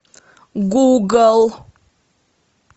гугл